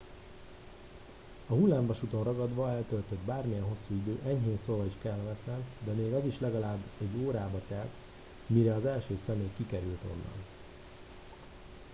"a hullámvasúton ragadva eltöltött bármilyen hosszú idő enyhén szólva is kellemetlen de még az is legalább egy órába telt mire az első személy kikerült onnan. "